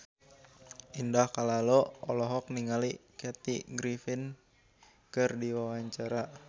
Indah Kalalo olohok ningali Kathy Griffin keur diwawancara